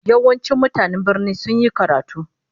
Yawancin mutanen birnin sun yi karatu